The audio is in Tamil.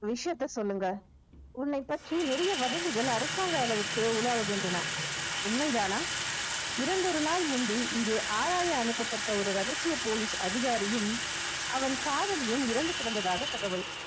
விஷயத்த சொல்லுங்க உன்னைப் பற்றி நிறைய வதந்திகள் அரசாங்க அளவுக்கு உலாவுகின்றன உண்மைதானா இரண்டு ஒரு நாள் முந்தி இங்கே ஆராய அனுப்பப்பட்ட ஒரு ரகசிய போலீஸ் அதிகாரியும் அவன் காதலியும் இறந்து கிடந்ததாக தகவல்